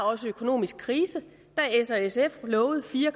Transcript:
også økonomisk krise da s og sf lovede fire